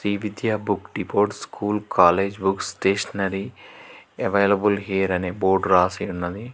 ఈ Vidya book depot school college books stationery available here అని board రాసి ఉన్నది.